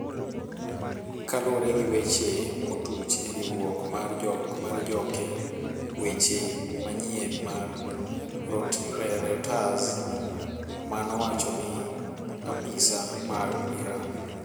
, kaluore gi weche motuch e riwruok mar joke weche manyien mar Reuters manowacho ni apisa mag Iran.